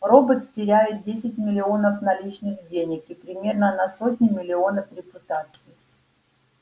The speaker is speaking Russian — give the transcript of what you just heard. робот теряет десять миллионов наличных денег и примерно на сотню миллионов репутации